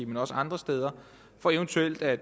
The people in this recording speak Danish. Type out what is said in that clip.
men også andre steder for eventuelt at